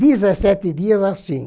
Dezessete dias assim.